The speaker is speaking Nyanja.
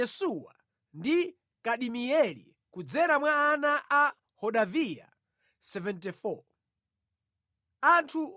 Anthu oyimba nyimbo anali awa: Zidzukulu za Asafu 128.